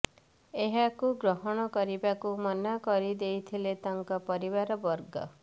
ଏହାକୁ ଗ୍ରହଣ କରିବାକୁ ମନା କରିଦେଇଥିଲେ ତାଙ୍କ ପରିବାର ବର୍ଗ